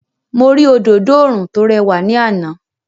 Mo rí òdodo oòrùn tó rẹwà ní àná.